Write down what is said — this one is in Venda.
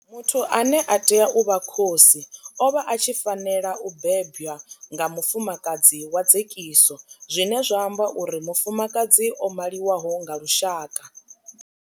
Muthu ane a tea u vha khosi o vha a tshi fanela u bebwa nga mufumakadzi wa dzekiso zwine zwa amba uri mufumakadzi o maliwaho nga lushaka.